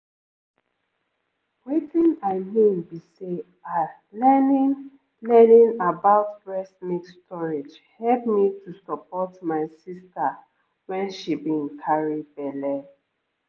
i dey always make sure say ehm i ask about breast milk storage every every time i go see doctor